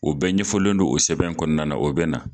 O bɛ ɲɛfɔlen don o sɛbɛn kɔnɔna na o bɛ na